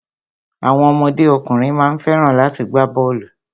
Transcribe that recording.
Àwọn ọmọdé ọkùnrin má ń fẹ́ràn láti gbá bọ́ọ̀lù.